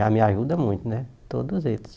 Já me ajudam muito né, todos eles.